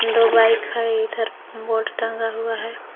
दो बाइक है इधर बोर्ड टंगा हुआ है।